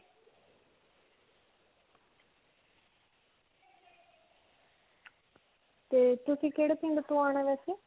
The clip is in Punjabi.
ਤੇ ਤੁਸੀਂ ਕਿਹੜੇ ਪਿੰਡ ਤੋਂ ਆਉਣਾ ਹੈ ਵੈਸੇ?